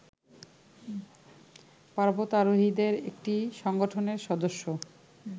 পর্বতারোহীদের একটি সংগঠনের সদস্য